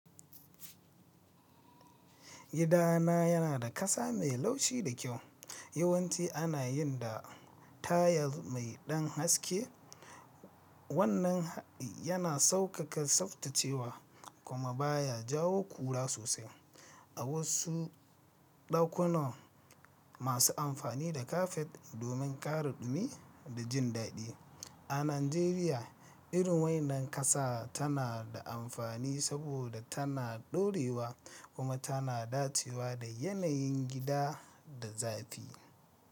Gida na yana da ƙasa mai laushi da kyau. Yawanci ana yin da tayal mai ɗan haske. Wannan yana sauƙaƙa tsaftacewa kuma baya jawo ƙura sosai. A wasu ɗakunan masu amfani da kafet domin ƙara dumi da jin daɗi. A Najeriya, irin wannan ƙasa tana da amfani saboda tana ɗorewa kuma tana dacewa da yanayin gida da zafi.